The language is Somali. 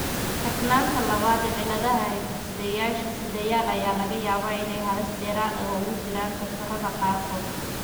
Kakanaanta labaad cilladaha hiddesideyaasha sidayaal ayaa laga yaabaa inay halis dheeraad ah ugu jiraan kansarrada qaarkood.